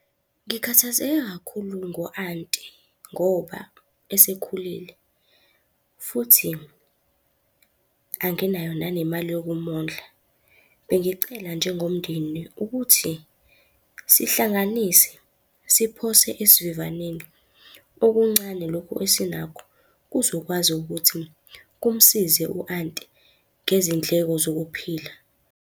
Ngikhathazeke kakhulu ngo aunt-i ngoba esekhulile futhi anginayo nanemali yokumondla. Bengicela njengomndeni ukuthi sihlanganise, siphose esivivaneni okuncane lokhu esinakho kuzokwazi ukuthi kumsize u-aunt-i ngezindleko zokuphila.